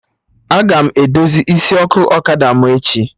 Aga m edozi isi ọkụ ọkada m echi